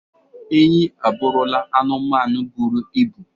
Enyí abụrụla anụmanụ bụrụ ibụ.